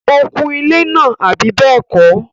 ó kun ilẹ́ náà, àbí bẹ́ẹ̀kọ́?